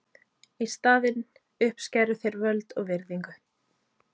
Í staðinn uppskæru þeir völd og virðingu.